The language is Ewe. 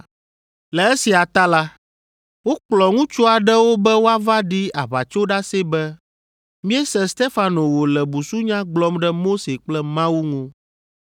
Le esia ta la, wokplɔ ŋutsu aɖewo be woava ɖi aʋatsoɖase be, “Míese Stefano wòle busunya gblɔm ɖe Mose kple Mawu ŋu.”